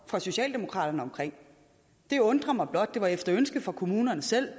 fra socialdemokraterne for det undrer mig blot det var efter ønske fra kommunerne selv